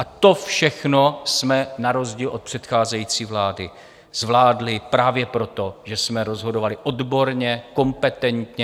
A to všechno jsme na rozdíl od předcházející vlády zvládli právě proto, že jsme rozhodovali odborně, kompetentně.